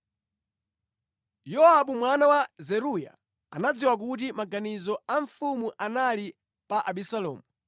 Yowabu mwana wa Zeruya anadziwa kuti maganizo a mfumu ali pa Abisalomu.